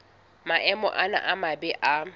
maemo ana a mabe a